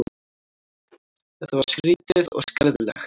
Þetta var skrýtið og skelfilegt.